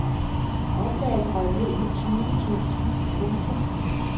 Oplaget røg ned på tyve tusind. punktum